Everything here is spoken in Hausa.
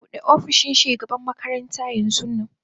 Bude opishin shugaban makaranta.